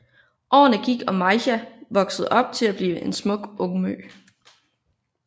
Årene gik og Maija voksede op til at blive en smuk ungmø